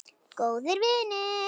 Góðir vinir.